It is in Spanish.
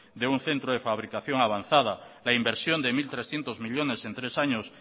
de un centro de fabricación avanzada la inversión de mil trescientos millónes en tres años